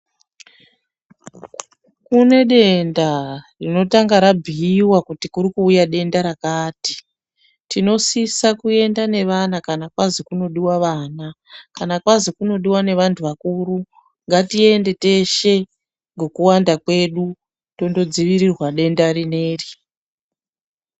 Kune denda rinotanga rabhuyiwa kuti kuri kuuya denda rakati, tinosisa kuyenda nevana kana kwazi kunodiwa vana, kana kwazi kunodiwa nevantu vakuru ngatiende teshe ngekuwanda kwedu tondodzivirirwa denda rineri.